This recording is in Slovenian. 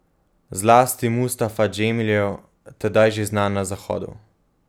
Zlasti Mustafa Džemilev, tedaj že znan na Zahodu.